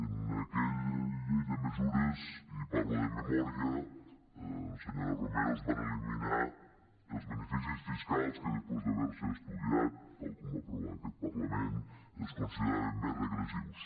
en aquella llei de mesures i parlo de memòria senyora romero es van elimi·nar els beneficis fiscals que després d’haver·se estudiat tal com va aprovar aquest parlament es consideraven més regressius